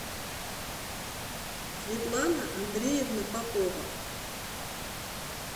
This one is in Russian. светлана андреевна попова